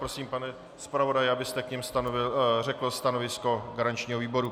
Prosím, pane zpravodaji, abyste k nim řekl stanovisko garančního výboru.